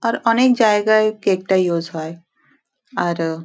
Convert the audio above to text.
আর অনেক জায়গায় কেক -টা ইউস হয় আর--